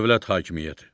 Dövlət hakimiyyəti.